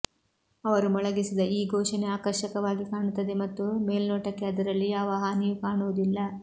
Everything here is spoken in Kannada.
ಅವರು ಮೊಳಗಿಸಿದ ಈ ಘೋಷಣೆ ಆಕರ್ಷಕವಾಗಿ ಕಾಣುತ್ತದೆ ಮತ್ತು ಮೇಲ್ನೋಟಕ್ಕೆ ಅದರಲ್ಲಿ ಯಾವ ಹಾನಿಯೂ ಕಾಣುವುದಿಲ್ಲ